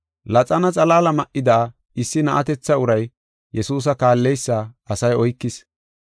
Laxana xalaala ma7ida issi na7atetha uray Yesuusa kaalleysa asay oykis.